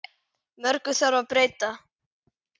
Mörgu þarf að breyta.